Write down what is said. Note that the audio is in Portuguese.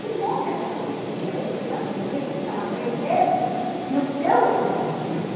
Que bom que ele já foi transferido, tem criança, têm meninos que fica lá três meses e o seu já foi transferido.